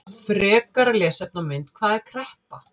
Frekara lesefni og mynd: Hvað er kreppa?